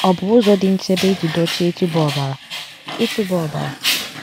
Ọ̀ bụ ụzọ dị nchebe iji dochie ịtụba ọbara? ịtụba ọbara?